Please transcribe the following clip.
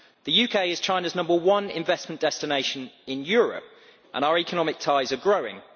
The UK is China's number one investment destination in Europe and our economic ties are growing.